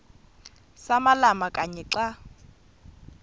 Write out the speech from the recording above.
samalama kanye xa